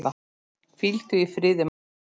Hvíldu í friði, Magga mín.